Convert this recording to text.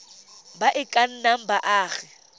ba e ka nnang baagi